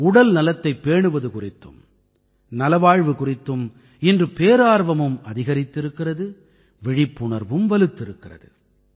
உடல்நலத்தைப் பேணுவது குறித்தும் நலவாழ்வு குறித்தும் இன்று பேரார்வமும் அதிகரித்திருக்கிறது விழிப்புணர்வும் வலுத்திருக்கிறது